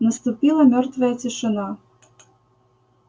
наступила мёртвая тишина